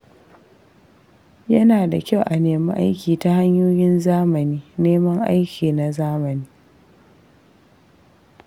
Yana da kyau a nemi aiki ta hanyoyin zamani neman aiki na zamani.